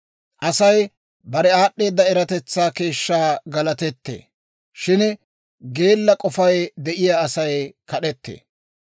Asay bare aad'd'eeda eratetsaa keeshshaa galatettee; shin geella k'ofay de'iyaa Asay kad'ettee.